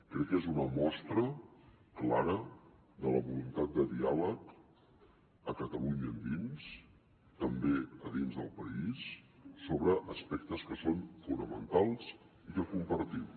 crec que és una mostra clara de la voluntat de diàleg a catalunya endins també a dins del país sobre aspectes que són fonamentals i que compartim